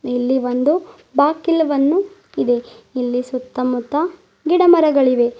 ಇಲ್ಲಿ ಒಂದು ಬಾಕಿಲವನ್ನು ಇದೆ ಇಲ್ಲಿ ಸುತ್ತಮುತ್ತ ಗಿಡಮರಗಳಿವೆ.